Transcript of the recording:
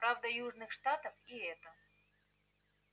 правда южных штатов и это